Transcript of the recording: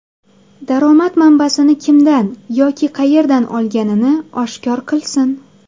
Daromad manbasini kimdan yoki qayerdan olganini oshkor qilsin.